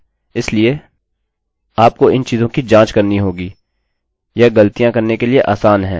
चलिए मैं 123 टाइप करता हूँ चलिए मैं यहाँ क्लिक करता हूँ और यह कहता है thanks for your password और इसने मुझे मेरा पासवर्ड दिया है